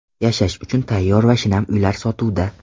Yashash uchun tayyor va shinam uylar sotuvda!.